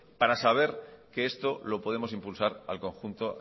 para saber que esto lo podemos impulsar al conjunto